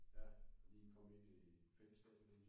ja lige komme ind i fællesskabet